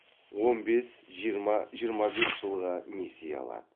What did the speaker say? он бес жиырма жиырма бес жылға несие алады